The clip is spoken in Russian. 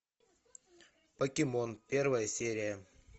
покемон первая серия